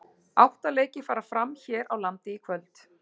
Átta leikir fara fram hér á landi í kvöld.